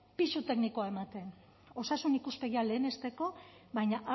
pisu teknikoa ematen osasun ikuspegia lehenesteko baina